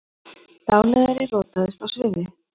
Dáleiðari rotaðist á sviði